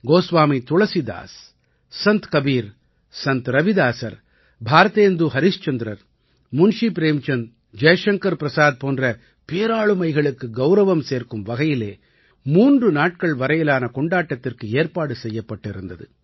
கோஸ்வாமி துளசிதாஸ் சந்த் கபீர் சந்த் ரவிதாஸர் பாரதேந்து ஹரிஷ்சந்திரர் முன்ஷீ பிரேம்சந்த் ஜய்ஷங்கர் பிரசாத் போன்ற பேராளுமைகளுக்கு கௌரவம் சேர்க்கும் வகையிலே மூன்று நாட்கள் வரையிலான கொண்டாட்டத்திற்கு ஏற்பாடு செய்யப்பட்டிருந்தது